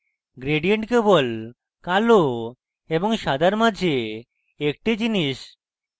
gradient কেবল কালো এবং সাদার মাঝে একটি জিনিস